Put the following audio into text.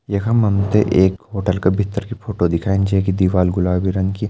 यखम हमते एक होटल का भित्तर की फोटो दिखान छै कि दीवाल गुलाबी रंग की --